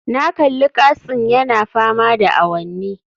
Na kalli katsin yana fama da awanni